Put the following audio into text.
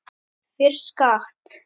Fyrir skatt.